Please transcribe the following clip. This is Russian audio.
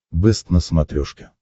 бэст на смотрешке